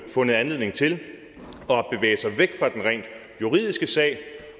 fundet anledning til at bevæge sig væk fra den rent juridiske sag